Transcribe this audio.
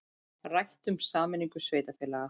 Rætt um sameiningu sveitarfélaga